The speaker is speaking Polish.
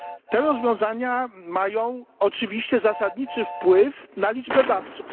Te rozwiązania mają oczywiście zasadniczy wpływ na liczbę dawców.